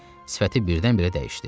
Sifəti birdən-birə dəyişdi.